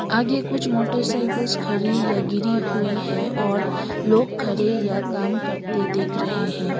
आगे कुछ मोटरसाइकिल्स खरी या गिरी हुई है और लोग खरे या काम करते दिख रहे हैं।